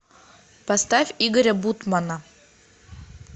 поставь игоря бутмана